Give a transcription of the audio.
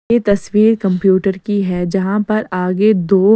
यह तस्वीर कंप्यूटर की है जहां पर आगे दो।